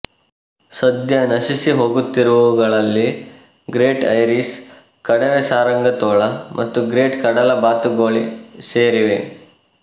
ಸದ್ಯ ನಶಿಸಿ ಹೋಗುತ್ತಿರುವುಗಳಲ್ಲಿಗ್ರೇಟ್ ಐರಿಶ್ ಕಡವೆಸಾರಂಗತೋಳ ಮತ್ತುಗ್ರೇಟ್ ಕಡಲ ಬಾತುಗೋಳಿ ಸೇರಿವೆ